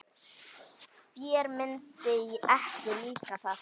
Þér myndi ekki líka það.